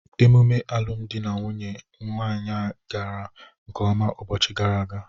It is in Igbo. Emume alụmụdi nwanne anyị nwaanyị gara nkeọma ụbọchị gara aga.